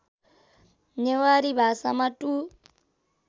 नेवारी भाषामा टु